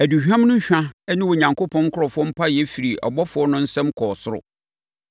Aduhwam no hwa ne Onyankopɔn nkurɔfoɔ mpaeɛ firi abɔfoɔ no nsam kɔɔ soro.